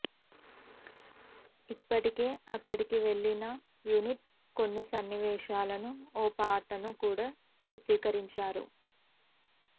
ఇప్పటికే అక్కడికి వెళ్ళిన యూనిట్ కొన్ని సన్నివేశాలను ఓ పాటను కూడా చిత్రీకరించారు